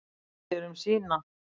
Guð sér um sína.